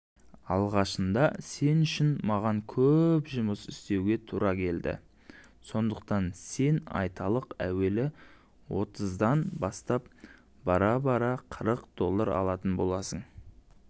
алғашында сен үшін маған көп жұмыс істеуге тура келеді сондықтан сен айталық әуелі отыздан бастап бара-бара қырық доллар алатын боласың